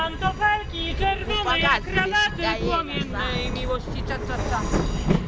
bufakazi besitayela sakhe